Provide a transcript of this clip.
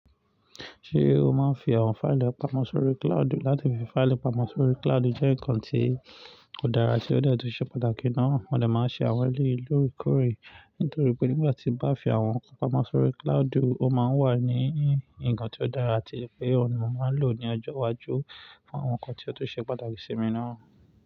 Ṣé o máa ń fi àwọn fáìlì pamọ́ sórí cloud? Láti fi fáìlì pamọ́ sórí cloud jẹ́ nǹkan tí ó dára tí ó de tun ṣe pàtàkì náà. Mo dè máa n ṣe àwọn eleyii loore koore Nítorí pé nígbà tí bá fi àwọn nǹkan pamọ́ sórí cloud, ó máa ń wà ní ǹkan tí ó dára atí wipé òun ni mo máa ń lò ní ọjọ́ iwájú fún àwọn nǹkan tí ó tun ṣe pàtàkì sí mi náà.